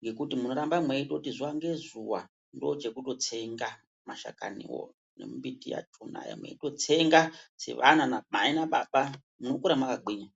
ngekuti munoramba mweitoti zuwa ngezuwa ndochekutotsenga mashakaniwo nemumbiti yakhona, mweindotsenga sevana namai nababa, munokura makagwinya.